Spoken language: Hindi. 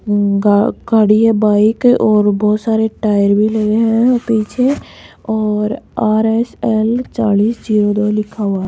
गा खड़ी है बाइक और बहुत सारे टायर भी लगे हैं पीछे और आर_एस_एल चालीस जीरो लिखा हुआ है।